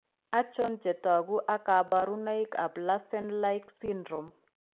Achon chetogu ak kaborunoik ab larsen like syndrome